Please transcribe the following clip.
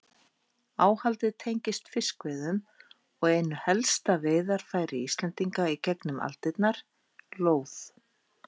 Áhaldið tengist fiskveiðum og einu helsta veiðarfæri Íslendinga í gegnum aldirnar, lóð.